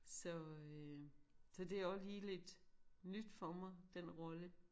Så øh så det også lige lidt nyt for mig den rolle